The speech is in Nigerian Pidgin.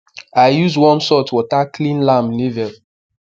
i use warm salt water clean lamb navel